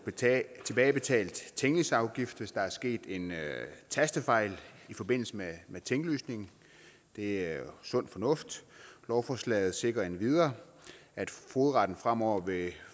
tilbagebetalt tinglysningsafgift hvis der er sket en tastefejl i forbindelse med tinglysning det er sund fornuft lovforslaget sikrer endvidere at fogedretten fremover